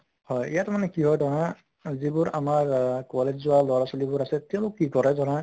হয় ইয়াত মানে কি হয় ধৰা যিবোৰ আমাৰ আহ college যোৱা লʼৰা ছোৱালীবোৰ আছে তেওঁলোক কি কৰে ধৰা